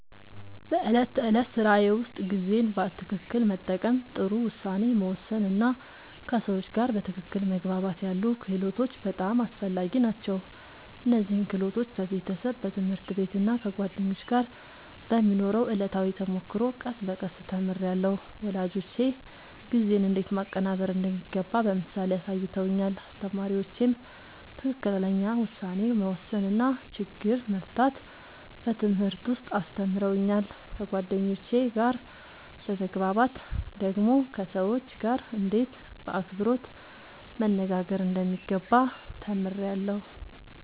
በዕለት ተዕለት ሥራዬ ውስጥ ጊዜን በትክክል መጠቀም፣ ጥሩ ውሳኔ መወሰን እና ከሰዎች ጋር በትክክል መግባባት ያሉ ክህሎቶች በጣም አስፈላጊ ናቸው። እነዚህን ክህሎቶች በቤተሰብ፣ በትምህርት ቤት እና ከጓደኞች ጋር በሚኖረው ዕለታዊ ተሞክሮ ቀስ በቀስ ተምሬያለሁ። ወላጆቼ ጊዜን እንዴት ማቀናበር እንደሚገባ በምሳሌ አሳይተውኛል፣ አስተማሪዎቼም ትክክለኛ ውሳኔ መወሰን እና ችግር መፍታት በትምህርት ውስጥ አስተምረውኛል። ከጓደኞቼ ጋር በመግባባት ደግሞ ከሰዎች ጋርእንዴት በአክብሮት መነጋገር እንደሚገባ ተምሬያለሁ።